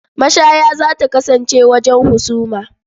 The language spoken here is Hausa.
Mashaya za ta kasance wajen husuma.